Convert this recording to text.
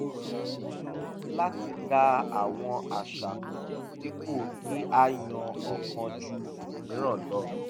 a pinnu láti da àwọn àṣà pọ̀ dípò kí á yan ọ̀kan ju òmíràn lọ